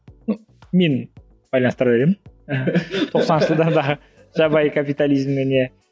ну мен байланыстыра беремін тоқсаныншы жылдардағы жабайы капитализммен иә